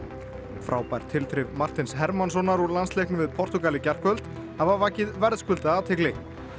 frábær tilþrif Martins Hermannssonar úr landsleiknum við Portúgal í gærkvöld hafa vakið verðskuldaða athygli